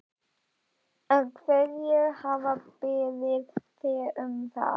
Hverjir hafa beðið þig um það?